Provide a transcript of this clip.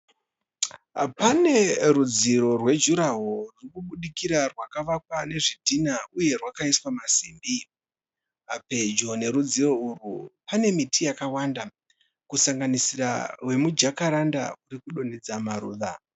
Pane rudziro rwejuraho rurikubudikira rwakavakwa nezvidhinha uye rwakaiswa masimbi. Pedyo nerudziro urwu pane miti yakawanda kusanganisira rwemujakaranda ruri kudonhedza maruva.